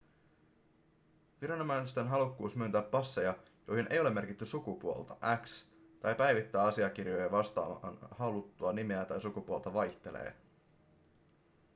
viranomaisten halukkuus myöntää passeja joihin ei ole merkitty sukupuolta x tai päivittää asiakirjoja vastaamaan haluttua nimeä ja sukupuolta vaihtelee